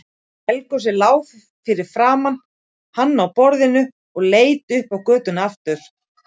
Helgu sem lá fyrir framan hann á borðinu og leit upp á götuna aftur.